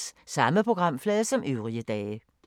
Samme programflade som øvrige dage